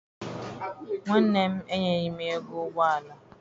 Nwanne m enyeghi m ego ụgbọala.